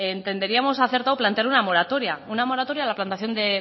entenderíamos acertado plantear una moratoria una moratoria a la plantación de